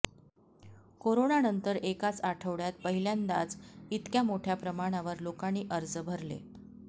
कोरोनानंतर एकाच आठवड्यात पहिल्यांदाच इतक्या मोठ्या प्रमाणावर लोकांनी अर्ज भरले